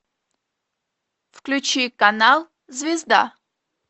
включи канал звезда